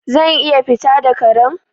Zan iya fita da Karen?